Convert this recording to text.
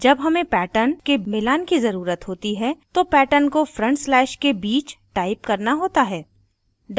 जब हमें patterns के मिलान की ज़रुरत होती है तो patterns को front slashes के बीच टाइप करना होता है